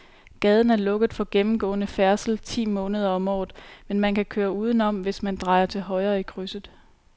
Gaden er lukket for gennemgående færdsel ti måneder om året, men man kan køre udenom, hvis man drejer til højre i krydset.